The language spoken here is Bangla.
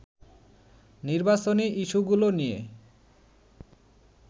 নির্বাচনী ইস্যুগুলো নিয়ে